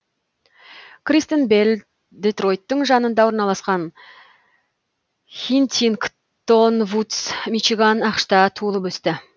кристен белл детройттың жанында орналасқан хинтингтон вудс мичиган ақш та туылып өсті